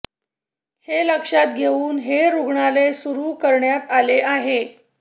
हे लक्षात घेऊन हे रुग्णालय सुरु करण्यात आले आहे